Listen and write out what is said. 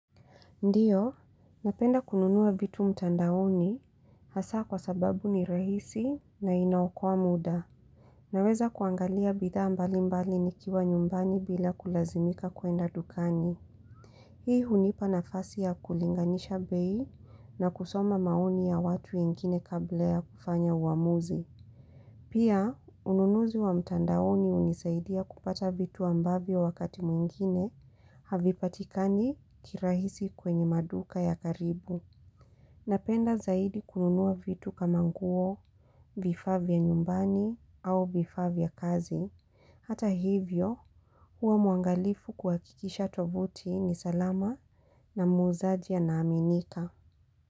Ndiyo, napenda kununua vitu mtandaoni hasa kwa sababu ni rahisi na inaokoa muda. Naweza kuangalia bidha mbalimbali nikiwa nyumbani bila kulazimika kuenda ndukani. Hii hunipa nafasi ya kulinganisha bei na kusoma maoni ya watu wengine kabla ya kufanya uamuzi. Pia, ununuzi wa mtandaoni unisaidia kupata vitu ambavyo wakati mwingine, havipatikani kirahisi kwenye maduka ya karibu. Napenda zaidi kununua vitu kama nguo, vifaa vya nyumbani, au vifaa vya kazi. Hata hivyo, huwa muangalifu kuhakikisha tovuti ni salama na muzaji ana aminika.